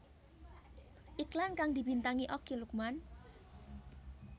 Iklan kang dibintangi Okky Lukman